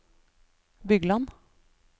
Bygland